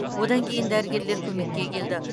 одан кейін дәрігерлер көмекке келді